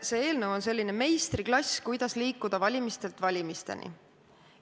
See eelnõu on olnud nagu meistriklass, kuidas liikuda valimistelt valimisteni.